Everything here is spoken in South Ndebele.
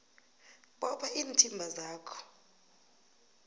bopha iinthimba zakho